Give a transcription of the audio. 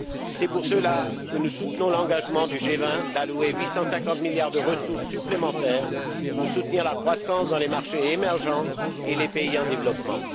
C'est pour cela que nous soutenons l'engagement du G20 d'allouer 850 milliards de ressources supplémentaires pour soutenir la croissance dans les marchés émergents et les pays en développement.